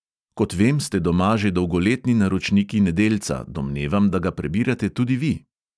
Kot vem, ste doma že dolgoletni naročniki nedeljca, domnevam, da ga prebirate tudi vi.